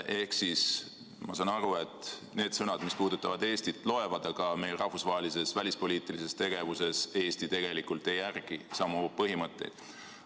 Ehk siis ma saan aru, et need sõnad, mis puudutavad Eestit, loevad, aga rahvusvahelises välispoliitilises tegevuses Eesti tegelikult ei järgi samu põhimõtteid.